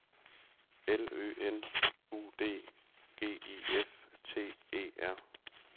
L Ø N U D G I F T E R